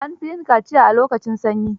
An fi yin kaciya a lokacin sanyi.